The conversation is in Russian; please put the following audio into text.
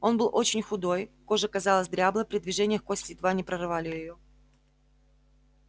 он был очень худой кожа казалась дряблой при движениях кости едва не прорывали её